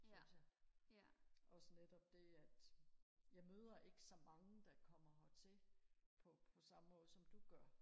synes jeg også netop det at jeg møder ikke så mange der kommer hertil på samme måde som du gør